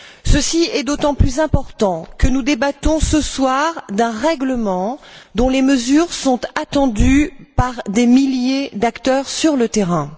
Ceci est d'autant plus important que nous débattons ce soir d'un règlement dont les mesures sont attendues par des milliers d'acteurs sur le terrain.